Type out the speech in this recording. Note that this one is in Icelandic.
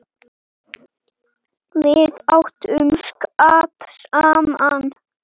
Við áttum skap saman.